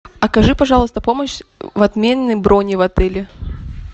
окажи пожалуйста помощь в отмене брони в отеле